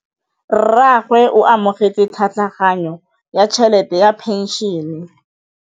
Rragwe o amogetse tlhatlhaganyô ya tšhelête ya phenšene.